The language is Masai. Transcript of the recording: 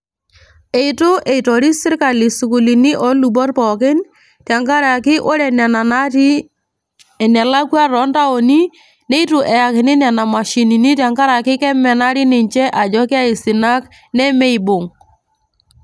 Itu eitoris sirkali isukuulini olubot pookin, tenkaraki ore nena natii enelakwa tontaoni, nitu eyakini nena mashinini tenkaraki kemenari ninche ajo keaisinak nemeibung'.